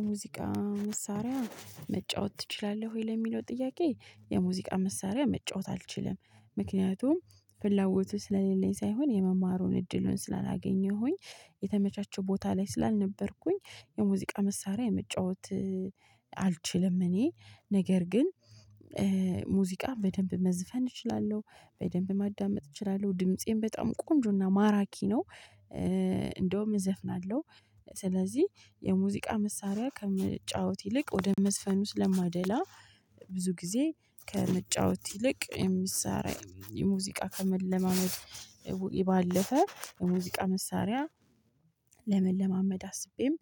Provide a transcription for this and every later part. የሙዚቃ መሳሪያ መጫወት ትችላለህ ወይ? ለሚለው ጥያቄ የሙዚቃ መሳሪያ መጫወት አልችልም። ምክንያቱም ፍላጎቱ ስለሌለኝ ሳይሆን የመማሩን እድሉን ስላላገኘሁኝ የተመቻቸ ቦታ ላይ ስላልነበርኩኝ የሙዚቃ መሳሪያ የመጫወት አልችልም እኔ ነገር ግን ሙዚቃ በደንብ መዝፈን እችላለሁ፣ በደንብ ማዳመጥ እችላለሁ፣ ድምፄን በጣም ቆንጆና ማራኪ ነው። እንደውም እዘፍናለሁ። ስለዚህ የሙዚቃ መሳሪያ ከመጫወት ይልቅ ወደ መዝፈኑ ስለማደላ ብዙ ጊዜ ከመጫወት ይልቅ የመሳሪያ የሙዚቃ ከመለማመድ ባለፈ የሙዚቃ መሳሪያ ለመለማመድ አስቤም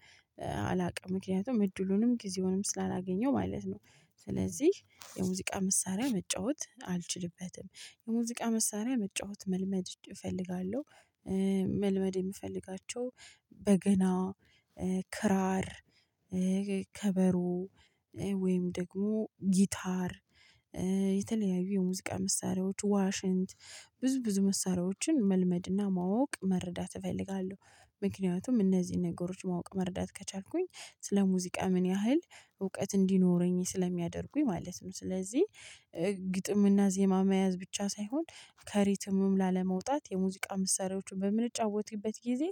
አላውቅም። ምክንያቱም እድሉንም ጊዜውንም ስላላገኘው ማለት ነው። ስለዚህ የሙዚቃ መሳሪያ መጫወት አልችልበትም። የሙዚቃ መሳሪያ መጫወት መልመድ እፈልጋለሁ። መልመድ የምፈልጋቸው በገና፣ ክራር ከበሮወይም ደግሞ ጊታር የተለያዩ የሙዚቃ መሳሪያዎች ዋሽንት ብዙ ብዙ መሳሪያዎችን መልመድና ማወቅ መረዳት እፈልጋለሁ። ምክንያቱም እነዚህን ነገሮች ማወቅ መረዳት ከቻልኩኝ ስለ ሙዚቃ ምን ያህል እውቀት እንዲኖረኝ ስለሚያደርጉኝ ማለት ነው። ስለዚህ ግጥምና ዜማ መያዝ ብቻ ሳይሆን ከሪትምም ላለመውጣት የሙዚቃ መሳሪያዎችን በምንጫወትበት ጊዜ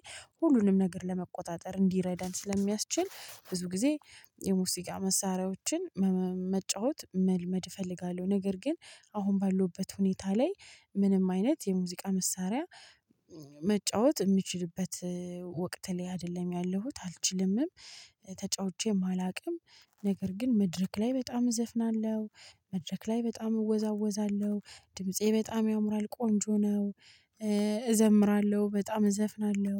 ሁሉንም ነገር ለመቆጣጠር እንዲረዳን ስለሚያስችል ብዙ ጊዜ የሙዚቃ መሳሪያዎችን መጫወት መልመድ እፈልጋለሁ። ነገር ግን አሁን ባለሁበት ሁኔታ ላይ ምንም አይነት የሙዚቃ መሳሪያ መጫወት ምችልበት ወቅት ላይ አይደለሁም ያለሁት። አልችልምም። ተጫውቼም አላውቅም። ነገር ግን መድረክ ላይ በጣም እዘፍናለሁ፣ መድረክ ላይ በጣም እወዛወዛለሁ፣ ድምፄ በጣም ያምራል ቆንጆ ነው፣ እዘምራለሁ በጣም እዘፍናለሁ።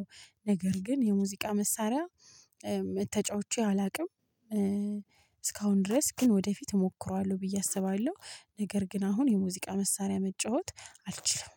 ነገር ግን የሙዚቃ መሳሪያ ተጫውቼ አላውቅም። እስካሁን ድረስ ግን ወደፊት እሞክረዋለሁ ብዬ አስባለሁ። ነገር ግን አሁን የሙዚቃ መሳሪያ መጫወት አልችልም።